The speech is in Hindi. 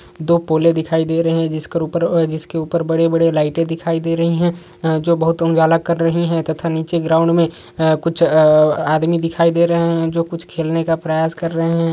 दो पोले दिखाई दे रही है जिसके ऊपर बड़े-बड़े लाइटऐ दिखाई दे रही है जो बहुत उजाला कर रही है तथा निचे ग्राउंड में कुछ आदमी दिखाई दे रहे है जो कुछ खेलने का प्रयास कर रहे है|